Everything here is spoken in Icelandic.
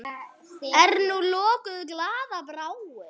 Er nú lokuð glaða bráin?